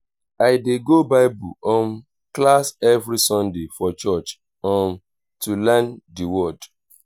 i dey go bible um class every sunday for church um to learn the word.